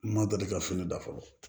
Ma deli ka fini da fɔlɔ